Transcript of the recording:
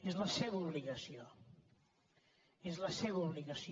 és la seva obligació és la seva obligació